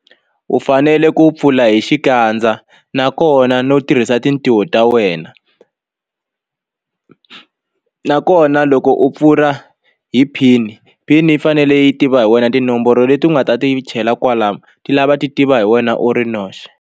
U fanele ku pfula hi xikandza nakona no tirhisa tintiho ta wena nakona loko u pfula hi pin pin yi fanele yi tiva hi wena tinomboro leti u nga ta ti chela kwalano ti lava ti tiva hi wena u ri noxe.